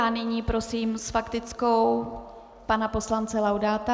A nyní prosím s faktickou pana poslance Laudáta.